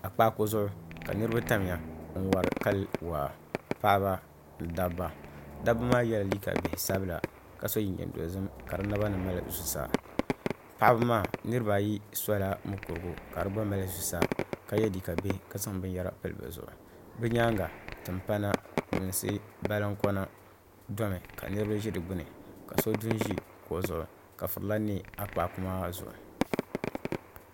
A kpako zuɣu ka niribi tamya n wari kali waa paɣaba ni dab ba da bɛ maa yɛla liiga bihi sabila ka so jinjɛm dozim ka di naba ni mali zusa paɣi maa niribi ba ayi sola mukuru ka di gba mali zusa ka ye liiga bihi ka zaŋ bin yɛra n pili bɛ zuɣu bɛ nyaanŋa tin pana luŋsi barinkonado mi ka nirbi ʒi di gbuni ka so du ʒi kuɣi zuɣu ka furila ne a kpaaku maa zuɣu